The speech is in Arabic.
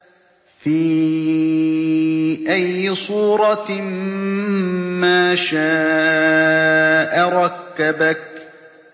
فِي أَيِّ صُورَةٍ مَّا شَاءَ رَكَّبَكَ